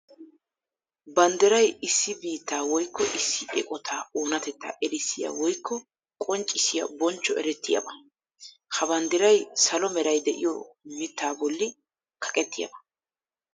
Banddiray issi biitta woykko issi eqotta oonatettaa erissiya woykko qonccissiya bonchcho erettiyaba. Ha banddiray salo meray de'iyo mitta bolli kaqqetiyaba.